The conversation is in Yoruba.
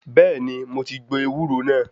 Bẹ́ẹ̀ni, mo ti gbo ewúro náà.